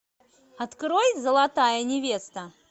открой золотая невеста